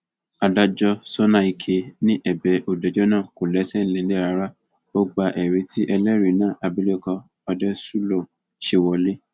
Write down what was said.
adájọ sọnàìke ni ẹbẹ olùjẹjọ náà kò lẹsẹ nílẹ rárá ó gba ẹrí tí ẹlẹrìí náà abilékọ òdeṣúlò ṣe wọlẹ